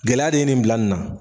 Gɛlɛya de ye nin bila nin na.